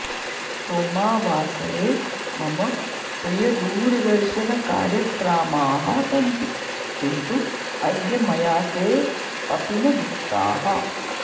सोमावासरे मम प्रियदूरदर्शनकार्यक्रामाः सन्ति किन्तु अद्य मया ते अपि न दृष्टाः